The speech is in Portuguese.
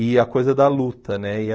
E a coisa da luta, né? E a